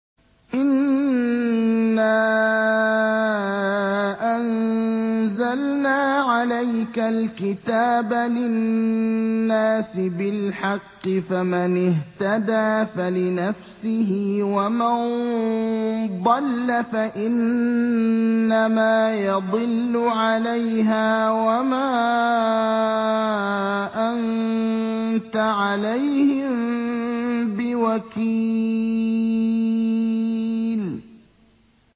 إِنَّا أَنزَلْنَا عَلَيْكَ الْكِتَابَ لِلنَّاسِ بِالْحَقِّ ۖ فَمَنِ اهْتَدَىٰ فَلِنَفْسِهِ ۖ وَمَن ضَلَّ فَإِنَّمَا يَضِلُّ عَلَيْهَا ۖ وَمَا أَنتَ عَلَيْهِم بِوَكِيلٍ